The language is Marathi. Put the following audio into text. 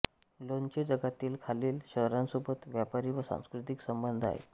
ल्योंचे जगातील खालील शहरांसोबत व्यापारी व सांस्कृतिक संबंध आहेत